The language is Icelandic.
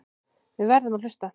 Við verðum að hlusta.